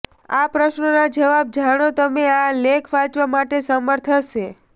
આ પ્રશ્નનો જવાબ જાણો તમે આ લેખ વાંચવા માટે સમર્થ હશે